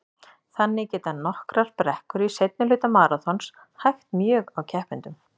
Þannig geta nokkrar brekkur í seinni hluta maraþons hægt mjög á keppendum.